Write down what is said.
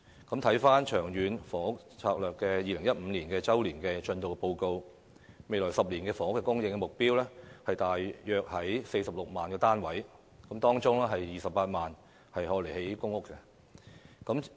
根據《長遠房屋策略》2015年周年進度報告，未來10年的房屋供應目標約為46萬個單位，當中28萬個為公營房屋單位。